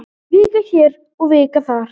Vika hér og vika þar.